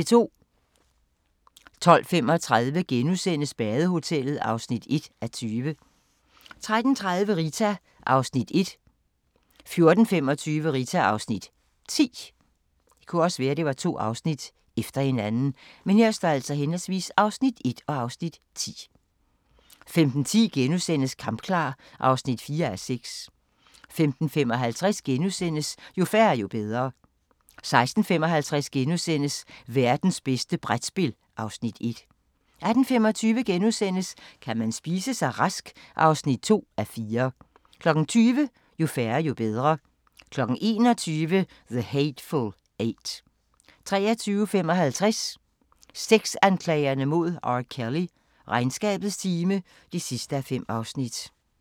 12:35: Badehotellet (1:20)* 13:30: Rita (Afs. 1) 14:25: Rita (Afs. 10) 15:10: Kampklar (4:6)* 15:55: Jo færre, jo bedre * 16:55: Værtens bedste brætspil (Afs. 1)* 18:25: Kan man spise sig rask? (2:4) 20:00: Jo færre, jo bedre 21:00: The Hateful Eight 23:55: Sexanklagerne mod R. Kelly: Regnskabets time (5:5)